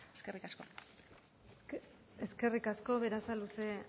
eskerrik asko eskerrik asko berasaluze